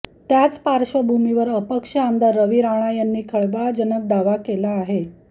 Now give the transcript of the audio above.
त्याच पार्श्वभूमीवर अपक्ष आमदार रवी राणा यांनी खळबळजनक दावा केला आहे